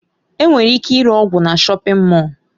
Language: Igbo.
Enwere ike ịre ọgwụ na shọpin Mọll.